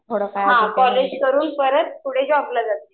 हां कॉलेज करून परत पुढे जॉबला जाते.